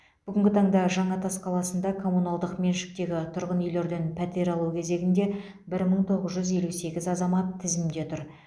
бүгінгі таңда жаңатас қаласында коммуналдық меншіктегі тұрғын үйлерден пәтер алу кезегінде бір мың тоғыз жүз елу сегіз азамат тізімде тұр